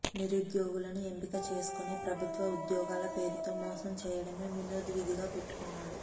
నిరుద్యోగులను ఎంపిక చేసుకొని ప్రభుత్వ ఉద్యోగాల పేరుతో మోసం చేడమే వినోద్ విధిగా పెట్టుకున్నాడు